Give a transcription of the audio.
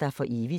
dig for evigt *